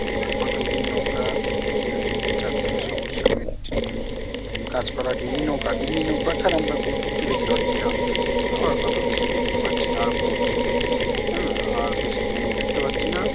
কচুরি নৌকা দুটি চারদিকে সবুজ সমেত উম গাছপালা ডিঙি নৌকা ডিঙি নৌকা ছাড়া আমরা আর কোনো কিচ্ছু দেখতে পাচ্ছি না আবার কত কিছু দেখতে পাচ্ছি আর কোন কিছু হেনা আর বেশি জিনিস দেখতে পাচ্ছি না।